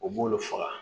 U b'olu faga